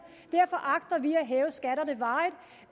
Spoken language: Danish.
og derfor agter vi